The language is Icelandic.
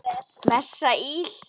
Messa íl.